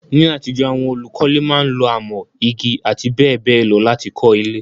Ní àtijọ́, àwon olùkọ́le máa n lo amọ́, igi àti béèbéè lo láti kó ilé